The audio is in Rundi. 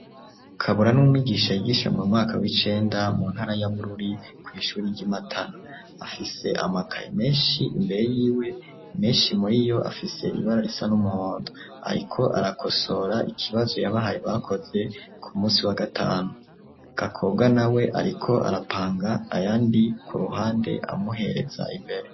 Kabura n'umwigisha yigisha mu mwaka w'icenda mu ntara ya Bururi kw'ishure ry'i Matana, afise amakayi menshi imbere yiwe menshi muri yo afise ibara risa n'umuhondo ariko arakosora ikibazo yabahaye bakoze ku musi wa gatanu, Gakobwa na we ariko arapanga ayandi ku ruhande amuhereza imbere.